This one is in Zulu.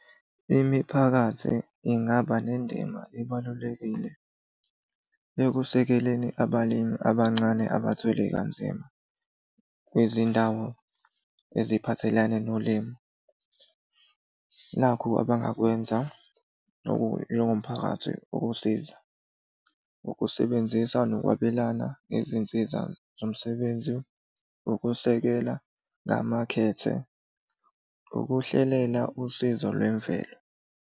Imiphakathi ingaba nendima ebalulekile ekusekeleni abalimi abancane abathwele kanzima kwezindawo eziphathelene nolimo. Nakhu abangakwenza njengomphakathi ukusiza. Ukusebenzisa nokwabelana ngezinsiza zomsebenzi. Ukusekela ngamakhethe. Ukuhlelela usizo lwemvelo.